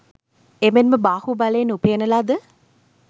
එමෙන්ම බාහු බලයෙන් උපයන ලද